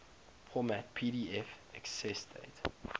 format pdf accessdate